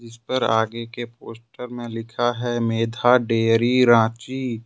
इस पर आगे के पोस्टर में लिखा है मेधा डेयरी रांची।